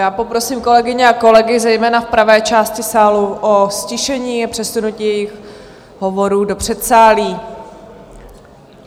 Já poprosím kolegyně a kolegy zejména v pravé části sálu o ztišení a přesunutí jejich hovorů do předsálí.